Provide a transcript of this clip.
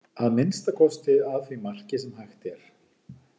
Að minnsta kosti að því marki sem hægt er.